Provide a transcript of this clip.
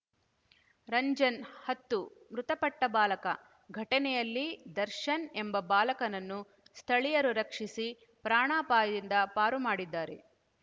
ರಂಜನ್‌ ಹತ್ತು ಮೃತಪಟ್ಟಬಾಲಕ ಘಟನೆಯಲ್ಲಿ ದರ್ಶನ್‌ ಎಂಬ ಬಾಲಕನನ್ನು ಸ್ಥಳೀಯರು ರಕ್ಷಿಸಿ ಪ್ರಾಣಾಪಾಯದಿಂದ ಪಾರು ಮಾಡಿದ್ದಾರೆ